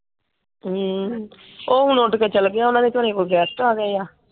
ਹਮ ਉਹ ਹੁਣ ਉੱਡ ਕੇ ਚਲਾ ਗਿਆ ਉਹਨਾਂ ਦੇ ਘਰੇ ਕੋਈ ਗੈਸਟ ਆ ਗਏ ਆ।